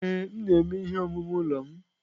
Ee, m na-eme ihe omume ụlọ m.